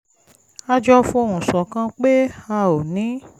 a jọ fohùn ṣọ̀kan pé a ò ní